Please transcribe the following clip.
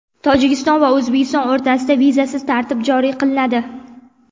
Tojikiston va O‘zbekiston o‘rtasida vizasiz tartib joriy qilinadi.